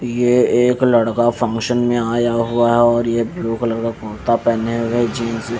ये एक लड़का फंक्शन मे आया हुआ है और ये ब्लू कलर का कुर्ता पेहने हुआ है जींस भी--